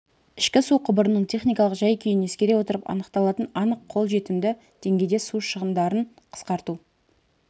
ішкі су құбырының техникалық жай-күйін ескере отырып анықталатын анық қол жетімді деңгейде су шығындарын қысқарту